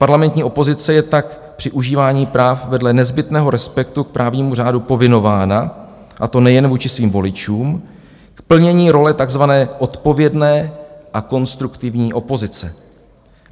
Parlamentní opozice je tak při užívání práv vedle nezbytného respektu k právnímu řádu povinována, a to nejen vůči svým voličům, k plnění role tzv. odpovědné a konstruktivní opozice.